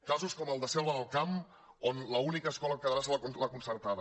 casos com el de la selva del camp on l’única escola que quedarà serà la concertada